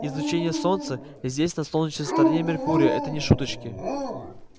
излучение солнца здесь на солнечной стороне меркурия это не шуточки